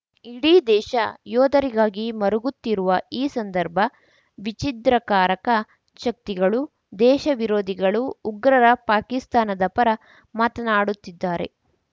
ಇಡೀ ದೇಶ ಯೋಧರಿಗಾಗಿ ಮರುಗುತ್ತಿರುವ ಈ ಸಂದರ್ಭ ವಿಚ್ಛಿದ್ರಕಾರಕ ಶಕ್ತಿಗಳು ದೇಶ ವಿರೋಧಿಗಳು ಉಗ್ರರ ಪಾಕಿಸ್ತಾನದ ಪರ ಮಾತನಾಡುತ್ತಿದ್ದಾರೆ